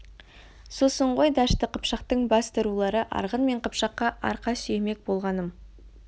сосын ғой дәшті қыпшақтың басты рулары арғын мен қыпшаққа арқа сүйемек болғаным